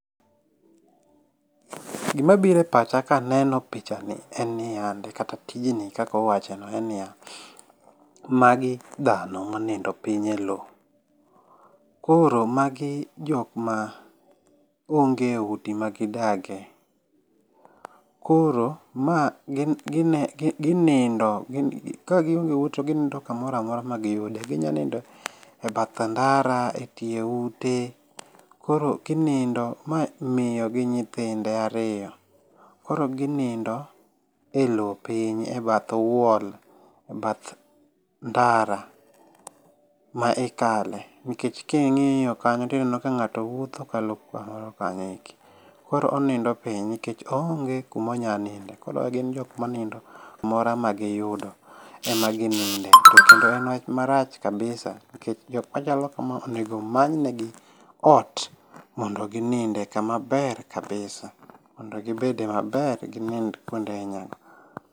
Gima bire pacha kaneno pichani en ni yande, kata tijni kaka wawachone, en ni ya, magi dhano monindo piny e lowo. Koro magi jokma onge udi magidage. Koro, ma gin gine gi ginindo kagionge ute to gindindo kamoramora magiyude, ginya ninde bath ndara, e tiye ute, koro ginindo. Ma mio gi nyithinde ario, koro ginindo e lowo piny e bath wall, e bath ndara, ma ikale nkech king'io kanyo tineno ka ng'ato wuotho kalo kamoro kanyo eki. Koro onindo piny nkech oonge kumo nya ninde, koro gin jok ma nindo kumora ma giyudo kendo en wach marach kabisa, nkech jokma chalo kama onego many negi ot mondo gininde, kama ber kabisa, mondo gibede maber ginind kwonde aina go.